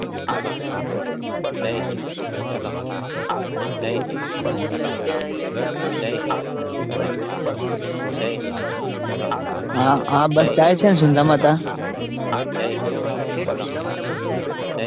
હાચી વાત છે હાચી વાત છે. બીજું એટલે ત્યાં અહિયાંથી આપડે નિકળીએ તો બસ જતી હસે ને કઈ ખબર છે. હા બસ જાય છે ને સુંધામાતા. છેક સુંધામાતા બસ જાય છે.